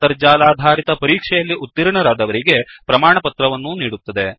ಅಂತರ್ಜಾಲಾಧಾರಿತ ಪರೀಕ್ಷೆಯಲ್ಲಿ ಉತೀರ್ಣರಾದವರಿಗೆ ಪ್ರಮಾಣಪತ್ರವನ್ನೂ ನೀಡುತ್ತದೆ